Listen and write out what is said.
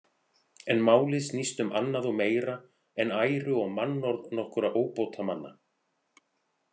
En málið snýst um annað og meira en æru og mannorð nokkurra óbótamanna.